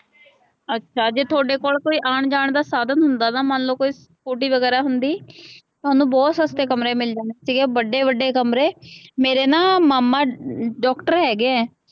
ਅੱਛਾ ਜੇ ਤੁਹਾਡੇ ਕੋਲ ਕੋਈ ਆਉਣ ਜਾਣ ਦਾ ਸਾਧਨ ਹੁੰਦਾ, ਮੰਨ ਲਉ ਕੋਈ ਸਕੂਟੀ ਵਗੈਰਾ ਹੁੰਦੀ, ਤੁਹਾਨੂੰ ਬਹੁਤ ਸਸਤੇ ਕਮਰੇ ਮਿਲ ਜਾਣੇ ਸੀਗੇ, ਵੱਡੇ ਵੱਡੇ ਕਮਰੇ, ਮੇਰੇ ਨਾ ਮਾਮਾ ਡਾਕਟਰ ਹੈਗੇ ਹੈ